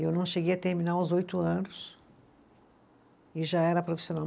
Eu não cheguei a terminar os oito anos e já era profissional.